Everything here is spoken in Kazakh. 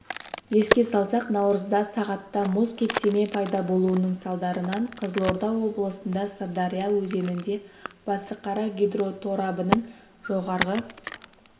еске салсақ наурызда сағатта мұз кептеме пайда болуының салдарынан қызылорда облысында сырдария өзенінде басықара гидроторабының жоғарғы